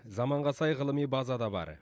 заманға сай ғылыми база да бар